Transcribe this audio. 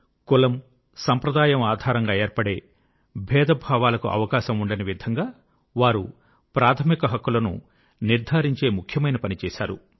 కులం సంప్రదాయం ఆధారంగా ఏర్పడే భేదభావాలకు అవకాశం ఉండని విధంగా వారు ప్రాథమిక హక్కులను నిర్ధారించే ముఖ్యమైన పని చేశారు